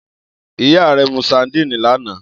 Iya rẹ mu sadíìnì lana.